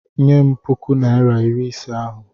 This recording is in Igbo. Nye m puku naịra iri ise ahụ!